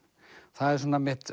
það er svona mitt